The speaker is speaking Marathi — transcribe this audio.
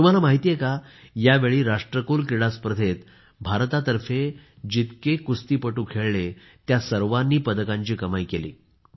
तुम्हाला माहित आहे का यावेळी राष्ट्रकुल क्रीडा स्पर्धेत भारतातर्फे जितके कुस्तीपटू खेळले त्या सर्वांनी पदकांची कमाई केली आहे